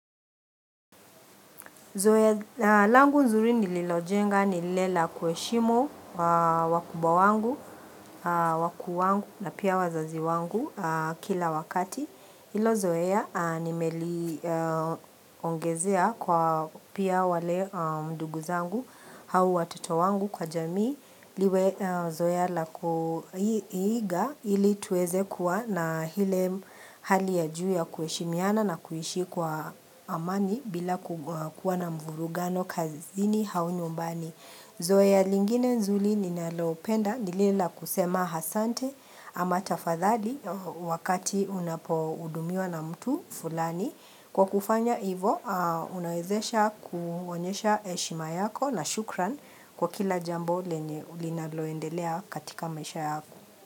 Zoya langu nzuri nililojenga nilela kueshimu wakuba wangu, wakuu wangu na pia wazazi wangu kila wakati. Ilo zoe ya nimeli ongezea kwa pia wale nduguzangu au watoto wangu kwa jamii Zoya la kuiga ili tuweze kuwa na hile hali ya juu ya kueshimiana na kuishi kwa amani bila kuwa na mvurugano kazini au nyumbani Zoea lingine nzuli ninalo penda ni lile la kusema asante ama tafadhali wakati unapo udumiwa na mtu fulani. Kwa kufanya ivo unawezesha kuonyesha eshima yako na shukran kwa kila jambo lenye ulinaloendelea katika maisha yako.